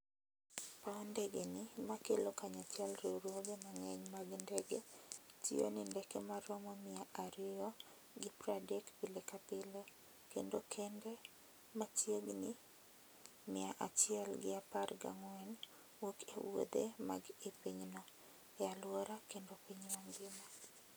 paw ndege ni ma kalo kanyachiel riwruoge mang'eny mag ndege tiyo ni ndeke ma romo mia ariyo gi pwa dek pile ka pile, kendo kende ma chiegni mia achiel gi apar ga ng'wen wuok e wuothe mag i pinyno, e alwora kendo piny mangima.